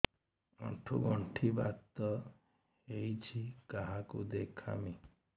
ଆଣ୍ଠୁ ଗଣ୍ଠି ବାତ ହେଇଚି କାହାକୁ ଦେଖାମି